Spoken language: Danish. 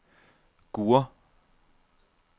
Gurre